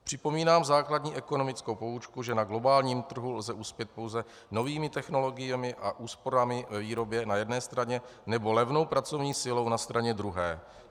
Připomínám základní ekonomickou poučku, že na globálním trhu lze uspět pouze novými technologiemi a úsporami ve výrobě na jedné straně nebo levnou pracovní silou na straně druhé.